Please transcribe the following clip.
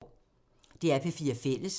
DR P4 Fælles